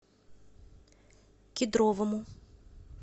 кедровому